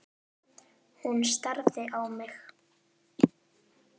Hún starði á mig.